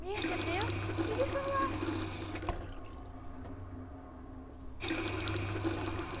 Me recebeu e me deixou no ar.